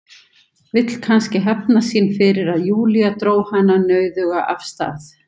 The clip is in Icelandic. Vill kannski hefna sín fyrir að Júlía dró hana nauðuga af stað.